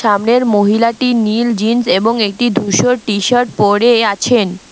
সামনের মহিলাটি নীল জিন্স এবং একটি ধূসর টিশার্ট পরে আছেন।